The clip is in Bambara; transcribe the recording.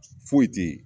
Foyi tɛ ye